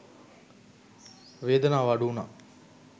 වේදනාව අඩු වුනා